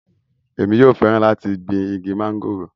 èmi yóò fẹ́ràn láti gbin igi mọ́ngòrò